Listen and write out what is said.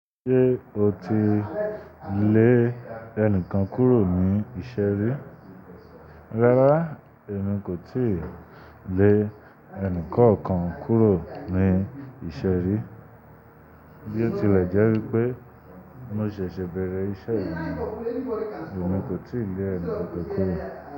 Ṣé o ti lè ẹnìkan kúrò ní ìṣe ri? Rara emi ko tii le enikookan kuro ni ise ri. Bio tile je wipe mo sese bere ise ni, emi ko tii le eni kankan kuro.